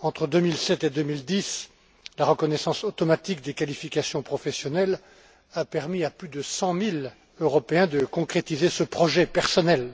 Entre 2007 et 2010, la reconnaissance automatique des qualifications professionnelles a permis à plus de cent mille Européens de concrétiser ce projet personnel.